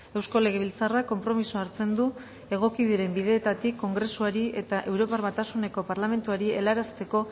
eusko legebiltzarrak konpromisoa hartzen du egoki diren bideetatik kongresuari eta europar batasuneko parlamentuari helarazteko